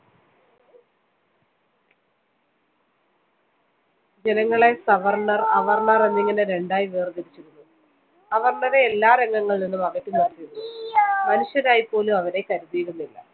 ജനങ്ങളെ സവര്‍ണര്‍, അവര്‍ണര്‍ എന്നിങ്ങനെ രണ്ടായി വേര്‍തിരിച്ചിരുന്നു. അവര്‍ണരെ എല്ലാ രംഗങ്ങളില്‍നിന്നും അകറ്റിനിര്‍ത്തിയിരുന്നു. മനുഷ്യരായിപ്പോലും അവരെ കരുതിയിരുന്നില്ല.